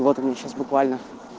вот они сейчас буквально